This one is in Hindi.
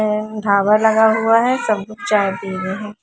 उम्म टावर लगा हुआ है सब जने चाय पी रहे है।